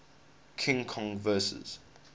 king kong vs